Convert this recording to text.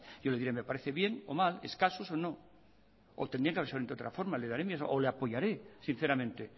yo le diré me parece bien o mal escasos o no o tendrían que haber sido de otra forma le daré mi o le apoyaré sinceramente